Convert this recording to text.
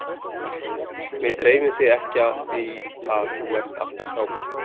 Mig dreymir þig ekki af því að þú ert alltaf hjá mér.